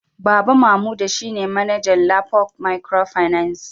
Baba Mamuda shine manaja Lapo microfinance